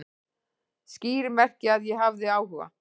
Skýr merki að ég hafi áhuga